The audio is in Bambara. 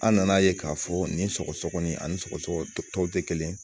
An nan'a ye k'a fɔ nin sɔgɔsɔgɔni ani sɔgɔsɔgɔ tɔw tɛ kelen ye